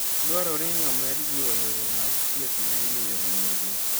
Dwarore ni omed jiwo yore mag thieth ma imiyo ong'orgo.